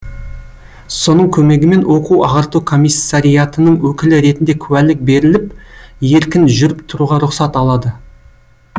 соның көмегімен оқу ағарту комиссариатының өкілі ретінде куәлік беріліп еркін жүріп тұруға рұқсат алады